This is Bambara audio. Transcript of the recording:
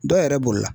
Dɔ yɛrɛ b'o la